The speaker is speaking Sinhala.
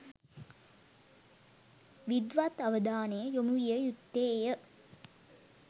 විද්වත් අවධානය යොමුවිය යුත්තේය.